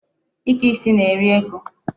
Ike isi na-eri ego.